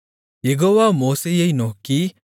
யெகோவா மோசேயை நோக்கி